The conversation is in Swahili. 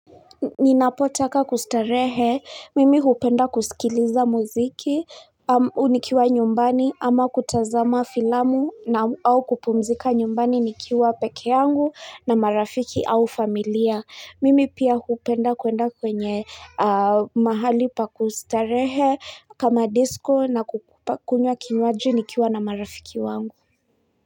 Ninapotaka kustarehe mimi hupenda kusikiliza muziki nikiwa nyumbani ama kutazama filamu na au kupumzika nyumbani nikiwa peke yangu na marafiki au familia mimi pia hupenda kwenda kwenye mahali pa kustarehe kama disco na kukunywa kinywaji nikiwa na marafiki wangu.